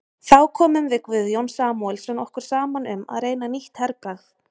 Þá komum við Guðjón Samúelsson okkur saman um að reyna nýtt herbragð.